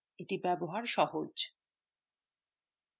ব্যবহার is সহজ